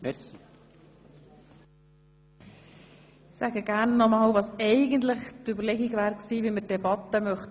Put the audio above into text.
Ich weise nochmals auf die eigentlich vorgesehene Gestaltung der Debatte hin.